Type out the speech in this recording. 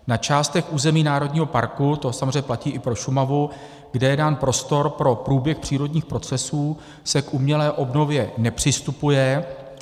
Na částech území národního parku, to samozřejmě platí i pro Šumavu, kde je dán prostor pro průběh přírodních procesů, se k umělé obnově nepřistupuje.